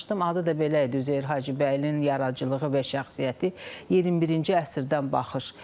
Adı da belə idi: Üzeyir Hacıbəylinin yaradıcılığı və şəxsiyyəti 21-ci əsrdən baxış.